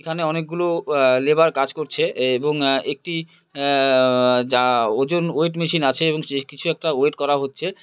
এখানে অনেকগুলো আ লেবার কাজ করছে এবং আ একটি আ ও আ যা ওজন ওয়েট মেশিন আছে এবং কিছু একটা ওয়েট করা হচ্ছে।